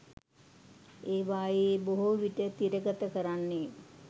ඒවායේ බොහෝ විට තිරගත කරන්නේ